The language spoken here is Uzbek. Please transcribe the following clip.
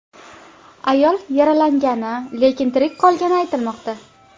Ayol yaralangani, lekin tirik qolgani aytilmoqda.